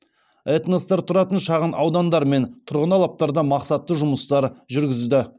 этностар тұратын шағын аудандар мен тұрғын алаптарда мақсатты жұмыстар жүргізді